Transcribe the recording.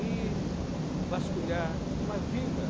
e vasculhar uma vila.